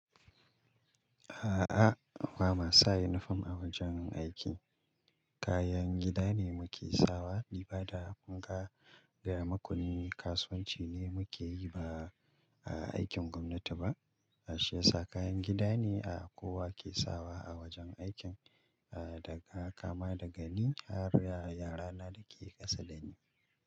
A'a, ba mu sa yinifom a wajen aiki. Kayan gida ne muke sawa, libada, fanka, gayamaku ne. Kasuwanci ne muke yi ba aikin gwamnati ba. Shi yasa kayan gida ne a kowa ke sawa a wajen aikin, ah daga haka dagani. Har yara na da ke ƙasa da ni.